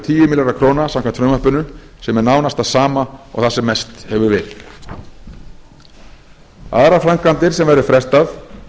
tíu milljarðar króna samkvæmt frumvarpinu sem er nánast það sama og það sem mest hefur verið aðrar framkvæmdir sem verður frestað